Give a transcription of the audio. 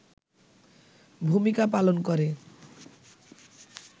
ভূমিকা পালন করে